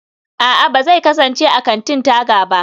a'a, ba zai kasance a kantin-taga ba